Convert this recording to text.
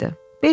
Belə?